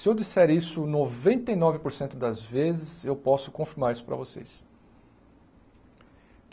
Se eu disser isso noventa e nove por cento das vezes, eu posso confirmar isso para vocês.